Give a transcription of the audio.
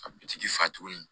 A bi dugutigi fa tuguni